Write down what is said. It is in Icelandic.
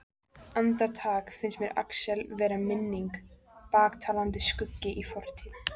Andartak finnst mér Axel vera minning, blaktandi skuggi í fortíð.